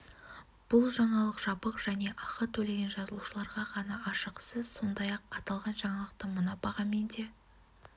бұл жаңалық жабық және ақы төлеген жазылушыларға ғана ашық сіз сондай-ақ аталған жаңалықты мына бағамен де